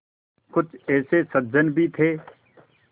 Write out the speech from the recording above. कुछ ऐसे सज्जन भी थे